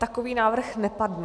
Takový návrh nepadl.